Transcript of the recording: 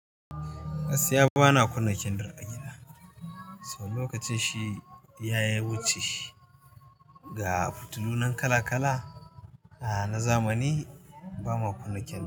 Gaskiya ba na kunna kendir a gida saboda lokacin shi ya wuche ga fitilu nan kala-kala na zamani ba ma kunna kenndir.